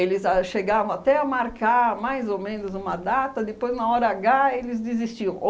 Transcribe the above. a chegavam até a marcar mais ou menos uma data, depois, na hora agá, eles desistiam.